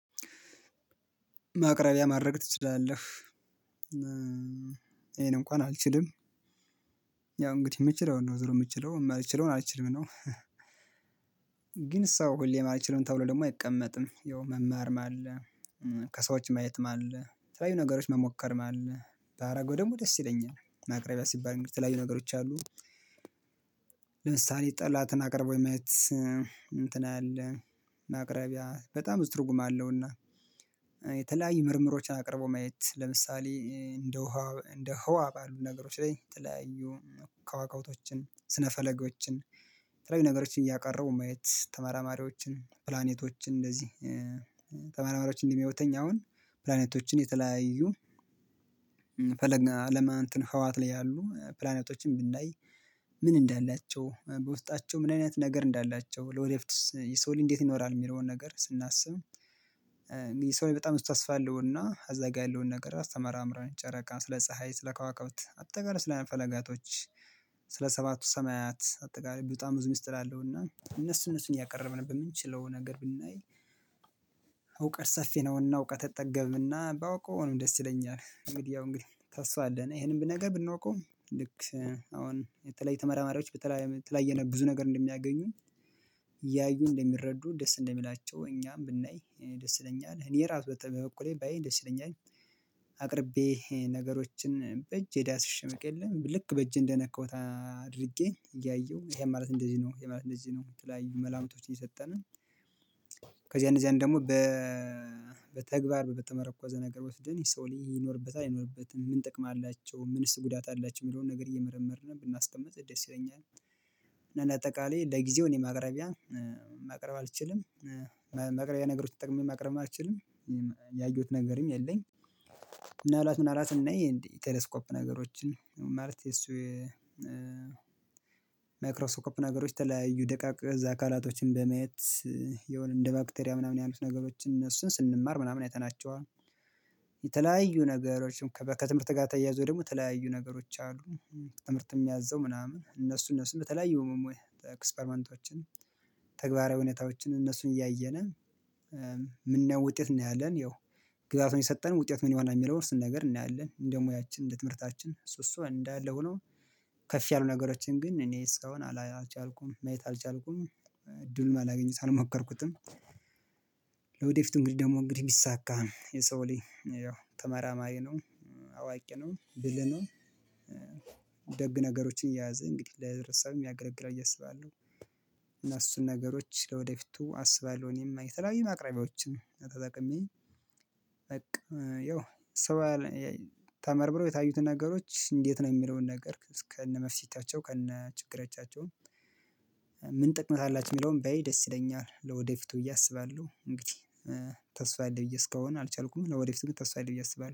ማቅረቢያ ማድረግ ትችላለህ ይሄንን እንኳን አልችልም። ያው እንግዲህ የምትችለው እንደው ዝሮ የምትችለው ማለት የምችለውን አልችልም ነው። ግን ሰው ሁሌ ማለት አልችለውን ተብሎ ደግሞ አይቀመጥም ያው መማር ማለ ከሰዎች ማየት ማለት ተለያዩ ነገሮች መሞከርም አለ ባደረገው ደግሞ ደስ ይለኛል። ማቅረቢያ ሲባል የሚተላዩ ነገሮች አሉ። ለምሳሌ ጠላትን አቅርቦ የማየት እንትን አለ ማቅረቢያ በጣም ብዙ ትርጉም አለውና። የተለያዩ ምርምሮችን አቅርበው ማየት ለምሳሌ እንደ ህዋ ባሉ ነገሮች ላይ የተለያዩ ክዋክብቶችን ስነፈለጎችን የተለያዩ ነገሮችን እያቀረቡ ማየት ተመራማሪዎችን ፕላኔቶችን እንደዚህ ተመራማሪዎችን እንዲህ አሁን ፕላኔቶችን የተለያዩ አለማትን ህውሃት ላይ ያሉ ፕላኔቶችን ብናይ ምን እንዳላቸው በውስጣቸው ምን አይነት ነገር እንዳላቸው ለወደፍትስ የሰው ላይ እንዴት ይኖራል የሚለውን ነገር ስናስብ። የሰው ልጅ በጣም ቡዙ ተስፋ አለውና እዛ ጋር ያለውን ነገር አስተመራምረን ጨረቃን ስለ ፀሀይ ስለ ከዋክብት አጠቃላይ ስለ ፈለጋቶች ስለ ሰባቱ ሰማያት አጠቃላይ በጣም ብዙ ሚስጥር አለውና እነሱ እነሱን እያቀረብን በምንችለው ነገር ብናይ። እውቀት ሰፌ ነውና እውቀት አይጠገብና ባውቀው ነው እኔም ደስ ይለኛል እንግዲህ ያው እንግዲህ ተስፋ አለን ይሄንም በነገር ብናውቀውም ልክ አሁን የተለየ ተመራማሪዎች በተለየ ብዙ ነገር እንደሚያገኙኝ እያዩ እንደሚረዱ ደስ እንደሚላቸው እኛም ብናይ ደስ ይለኛል እኔ ራሱ በተ በኩሌ ባይ ደስ ይለኛል። አቅርቤ ነገሮችን በእጄ ዳስሽ አውቅ የለ ልክ በእጄ እንደነካሁት አድርጌ እያየሁ ይሄ ማለት እንደዚህ ነው ይሄ ማለት እንደዚህ ነው የተለያዩ መላምቶችን እየሰጠን። ከዚያ እነዚያን ደግሞ በተግባር በተመረኮዘ ነገር ወስደን የሰው ሊኖርበት አይኖርበትም ምን ጥቅም አላቸው ምንስ ጉዳት አላቸው የሚለውን ነገር እየመረመርን ብናስቀምጥ ደስ ይለኛል። እና አጠቃላይ ለጊዜው እኔ ማቅረቢያ ማቅረብ አልችልም። መቅረቢያ ነገሮች ተጠቅሜ ማቅረብም አልችልም። ያየሁት ነገርም የለኝ። ምናልባት ምናልባት እናይ እንዴ ቴሌስኮፕ ነገሮችን ማለት የሱ የማይክሮስኮፕ ነገሮች ተለያዩ ደቃቅ እዝ አካላቶችን በማየት የሆነ እንደ ባክቴሪያ ምናምን ያሉት ነገሮችን እነሱን ስንማር ምናምን አይተናቸውም። ነገሮችም ከትምህርት ጋር ተያይዞ ደግሞ የተለያዩ ነገሮች አሉ። ትምህርት የሚያዘው ምናምን እነሱ እነሱን በተለያዩ መሞያ ኤክስፐርመንቶችን ተግባራዊ ሁኔታዎችን እነሱን እያየን። ምናየውን ውጤት እናያለን ያው ግዛቱን የሰጠን ውጤት ምን ይሆናል የሚለውን ስንት ነገር እናያለን እንደው ሙያችን እንደ ትምህርታችን እሱ እሱ እንዳለ ሆኖ። ከፍ ያሉ ነገሮችን ግን እኔስ አሁን አላልቻልኩም ማየት አልቻልኩም እድሉን አላገኙት አልሞከርኩትም። ለወደፊቱ እንግዲህ ደግሞ እንግዲህ ቢሳካ የሰው ላይ ተመራማሪ ነው። አዋቂ ነው ብልህ ነው። ደግ ነገሮችን የያዘ እንግዲህ ለህብረተሰብም ያገለግላል ብዬ አስባለሁ። እና እሱን ነገሮች ለወደፊቱ አስባለሁ እኔም የተለያዩ ማቅረቢያዎችን ተጠቅሜ በቃ ያው ሰው ተመርምረው የታዩትን ነገሮች እንዴት ነው የሚለውን ነገር ከነ መፍህቲታቸው ከነ ችግረቻቸውን። ምን ጥቅመት አላችው የሚለውን ባይ ደስ ይለኛል ለወደፊቱ ብዬ አስባለሁ እንግዲህ። ተስፋ አለኝ ብዬ እስካሁን አልቻልኩም ለወደፊቱ ተስፋ አለኝ ብዬ አስባለሁ